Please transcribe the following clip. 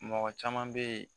Mɔgɔ caman bɛ yen